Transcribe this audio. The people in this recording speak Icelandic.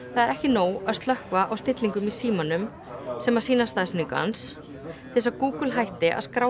ekki nóg að slökkva á stillingum í símanum sem sýna staðsetningu hans til þess að Google hætti að skrá